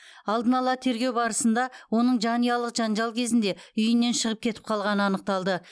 алдын ала тергеу барысында оның жанұялық жанжал кезінде үйінен шығып кетіп қалғаны анықталды